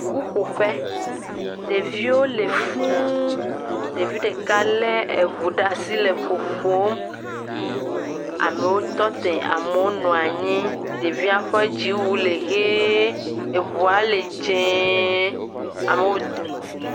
Ƒuƒoƒe. Ɖeviwo le fũu. Ɖevi ɖeka le eŋu ɖe asi le ƒoƒom. Amewo tɔ te. Amewo nɔa nyi. Ɖevia ƒe dziwu le ʋie. Eŋua le dze. Amewo.